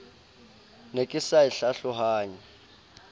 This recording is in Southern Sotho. ne ke sa e hlalohanye